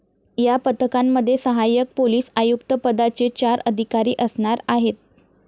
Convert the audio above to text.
या पथकांमध्ये सहाय्यक पोलीस आयुक्त पदाचे चार अधिकारी असणार आहेत.